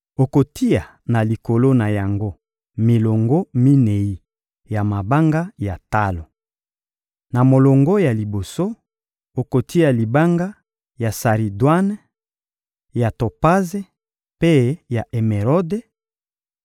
Okotia na likolo na yango milongo minei ya mabanga ya talo. Na molongo ya liboso, okotia libanga ya saridwane, ya topaze mpe ya emerode;